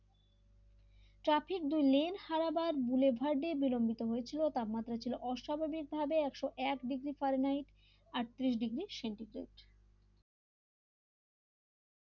traffic ডি লেন্ড হারাবার বুলেভার্ডে বিলম্বিত হয়েছিল তাপ মাত্রা ছিল অস্বাভাবিক ভাবে একশ এক ডিগ্রী ফারেনহাইট আত্তিরিশ ডিগ্রি সেন্টিগ্রেড l